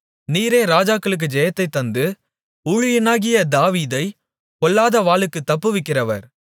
நீரே ராஜாக்களுக்கு ஜெயத்தைத் தந்து ஊழியனாகிய தாவீதைப் பொல்லாத வாளுக்குத் தப்புவிக்கிறவர்